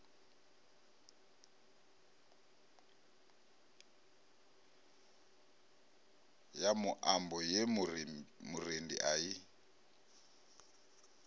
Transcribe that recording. muambo ye murendi a i